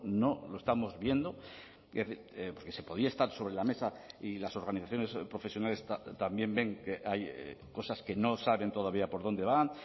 no lo estamos viendo porque se podía estar sobre la mesa y las organizaciones profesionales también ven que hay cosas que no saben todavía por dónde van